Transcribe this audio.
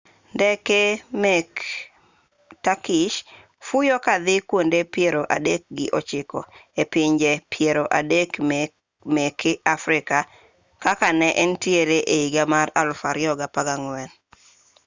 ndeke meke turkish fuyo kadhi kuonde piero adek gi ochiko e pinje piero adek meke africa kaka ne entie ehiga mar 2014